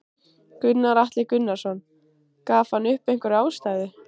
Gunnar Atli Gunnarsson: Gaf hann upp einhverja ástæðu?